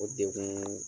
O degun